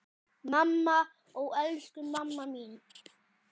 Mamma, ó elsku mamma mín.